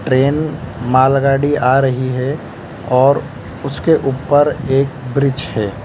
Train मालगाड़ी आ रही है और उसके ऊपर एक ब्रिज है।